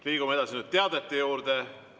Liigume teadete juurde.